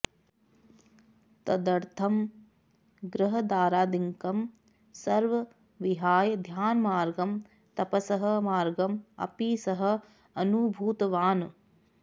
तदर्थं गृहदारादिकं सर्वं विहाय ध्यानमार्गं तपसः मार्गम् अपि सः अनुभूतवान्